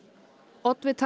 oddvitar